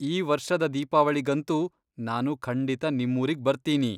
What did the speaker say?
ಈ ವರ್ಷದ ದೀಪಾವಳಿಗಂತೂ ನಾನು ಖಂಡಿತ ನಿಮ್ಮೂರಿಗ್ ಬರ್ತೀನಿ.